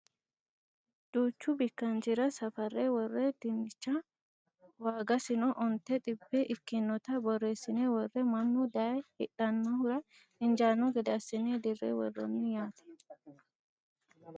Duuchu bikkanchira safarre worre dinnicha waagasino onte xibbe ikkinota borreessine worre mannu daye hidhannohura injaanno gede assine dirre worroonni yaate